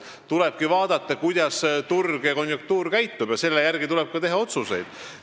Tuleb vaadata, kuidas turg ja konjunktuur käituvad ning teha selle järgi ka otsuseid.